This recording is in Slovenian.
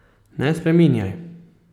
Ne spreminjaj.